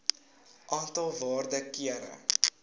aantal waarde kere